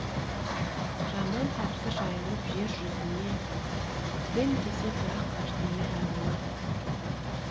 жаман тәпсір жайылып жер жүзіне дін десе тұра қашты ер азамат